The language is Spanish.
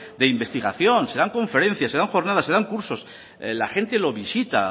de investigación se dan conferencias se dan jornadas se dan cursos la gente lo visita